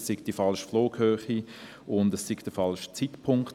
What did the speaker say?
Es sei die falsche Flughöhe, und es sei der falsche Zeitpunkt;